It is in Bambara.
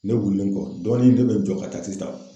Ne wulilen kɔ, dɔɔnin ne be n jɔ ka takisi ta .